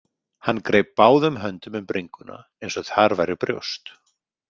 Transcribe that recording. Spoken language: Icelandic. Hann greip báðum höndum um bringuna eins og þar væru brjóst.